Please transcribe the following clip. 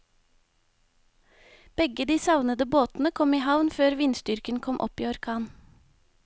Begge de savnede båtene kom i havn før vindstyrken kom opp i orkan.